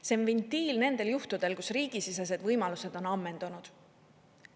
See on ventiil nendel juhtudel, kus riigisisesed võimalused on ammendunud.